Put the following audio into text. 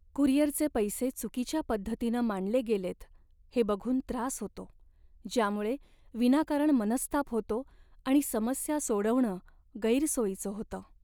कुरिअरचे पैसे चुकीच्या पद्धतीनं मांडले गेलेत हे बघून त्रास होतो, ज्यामुळे विनाकारण मनस्ताप होतो आणि समस्या सोडवणं गैरसोयीचं होतं.